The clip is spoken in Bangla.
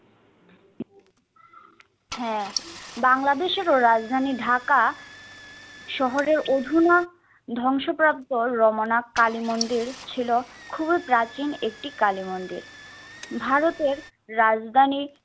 হ্যা, বাংলাদেশেরও রাজধানী ঢাকা শহরের অধুনা ধ্বংসপ্রাপ্ত রমনা কালীমন্দির ছিল খুবই প্রাচীন একটি কালীমন্দির। ভারতের রাজধানীর